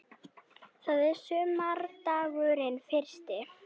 Það er sumardagurinn fyrsti.